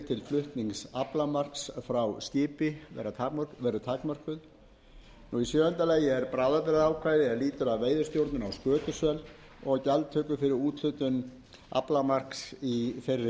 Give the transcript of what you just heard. flutnings aflamarks frá skipi takmörkuð sjöunda bráðabirgðaákvæði er lýtur að veiðistjórnun á skötusel og gjaldtöku fyrir úthlutun aflamarks í